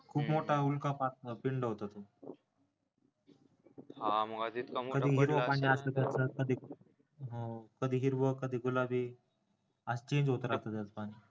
खूप मोठा उल्कपात पिंड होता तो कधी हिरवं पाणी असायचं तर कधी हिरवं कधी गुलाबी असं change होत राहत त्याच पाणी